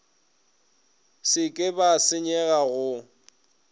se ke ba senyega go